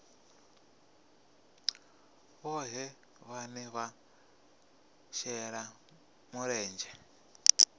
vhohe vhane vha shela mulenzhe